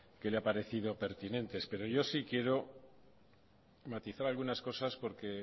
que le habrá parecido pertinentes pero yo sí quiero matizar algunas cosas porque